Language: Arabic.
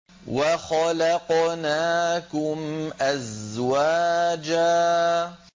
وَخَلَقْنَاكُمْ أَزْوَاجًا